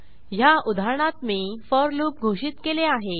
ह्या उदाहरणात मी फोर लूप घोषित केले आहे